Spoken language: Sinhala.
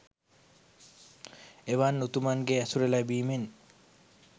එවන් උතුමන්ගේ ඇසුර ලැබීමෙන්